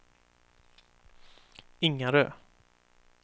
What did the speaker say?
Ingarö